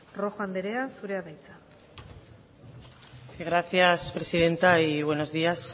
rojo andrea zurea da hitza sí gracias presidenta y buenos días